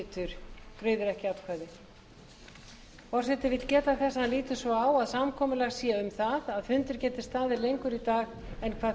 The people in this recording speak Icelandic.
forseti vill geta þess að hann lítur svo á að samkomulag sé um að fundir geti staðið lengur í dag en